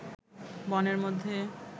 বনের মধ্যে